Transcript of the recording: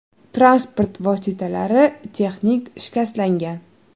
Transport vositalari texnik shikastlangan.